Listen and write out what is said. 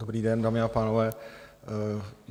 Dobrý den, dámy a pánové.